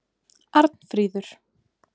Arnfríður